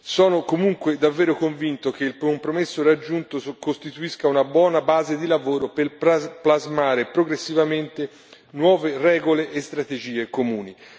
Sono comunque davvero convinto che il compromesso raggiunto costituisca una buona base di lavoro per plasmare progressivamente nuove regole e strategie comuni.